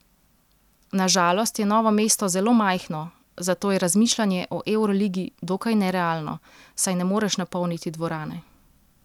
Na žalost je Novo mesto zelo majhno, zato je razmišljanje o evroligi dokaj nerealno, saj ne moreš napolniti dvorane.